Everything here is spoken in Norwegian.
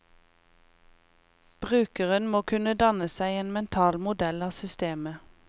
Brukeren må kunne danne seg en mental modell av systemet.